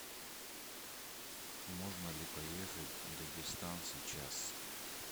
можно ли поехать в дагестан сейчас